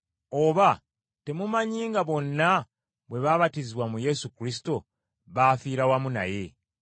Oba temumanyi nga bonna bwe baabatizibwa mu Yesu Kristo, baafiira wamu naye?